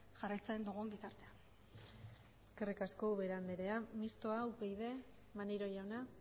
jarraitzen dugun bitartean eskerrik asko ubera andrea mixtoa upyd maneiro jauna